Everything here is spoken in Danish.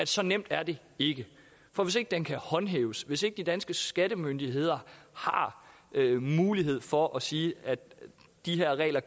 så nemt er det ikke for hvis ikke den kan håndhæves hvis ikke de danske skattemyndigheder har mulighed for at sige at de her regler